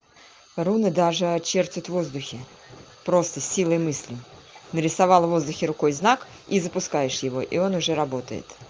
руны даже очертит воздухи просто силой мысли нарисовала в воздухе рукой знак и запускаешь его и он уже работает